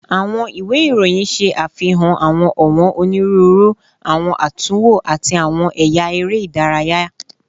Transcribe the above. Awọn iwe iroyin ṣe afihan awọn ọwọn oniruuru, awọn atunwo, ati awọn ẹya ere idaraya